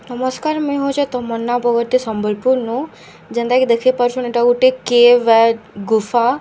ନମସ୍କାର ମୁଇଁ ହେଉଛେ ତମନ୍ନା ବଗର୍ତ୍ତୀ ସମ୍ବଲପୁର ନୁ ଯେନ୍ତା କି ଦେଖି ପାରୁଛନ ଏଟା ଗୁଟେ କେଭ୍‌ ଏ ଗୁଫା --